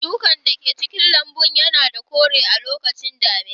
Shukan da ke cikin lambun yana da kore a lokacin damina.